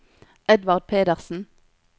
Edvard Pedersen